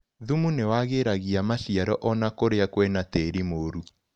Thumu ni wagĩragia maciaro ona kũria kwĩna tĩri mũru.